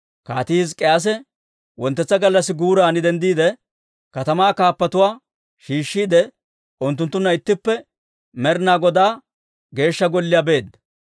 Kaatii Hizk'k'iyaase wonttetsa gallassi guuran denddiide, katamaa kaappatuwaa shiishshiide, unttunttunna ittippe Med'inaa Godaw Geeshsha Golliyaa beedda.